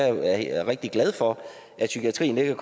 psykiatriske